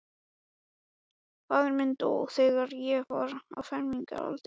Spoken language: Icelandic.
Faðir minn dó, þegar ég var á fermingaraldri.